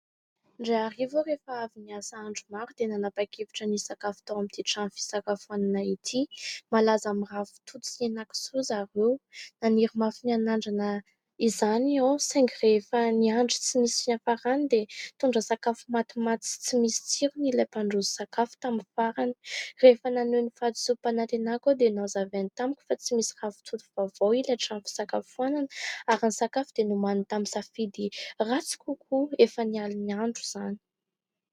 Indray ariva aho, rehefa avy niasa andro maro dia nanapa-kevitra ny hisakafo tao amin'ity trano fisakafoanana ity. Malaza amin'ny ravitoto sy hena kisoa ry zareo naniry mafy ny hanandrana izany aho, saingy rehefa niandry tsy nisy fiafarany dia nitondra sakafo matimaty sy tsy misy tsirony, ilay mpandroso sakafo tamin'ny farany rehefa naneho ny fadisom-panatenako aho, dia nanazava tamiko fa tsy misy ravitoto vaovao ilay trano fisakafoanana ary ny sakafo dia nomaniny tamin'ny safidy ratsy kokoa efa nialon'andro izany.